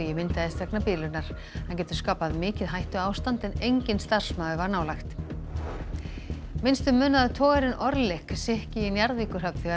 myndaðist vegna bilunar hann getur skapað mikið hættuástand en enginn starfsmaður var nálægt minnstu munaði að togarinn sykki í Njarðvíkurhöfn þegar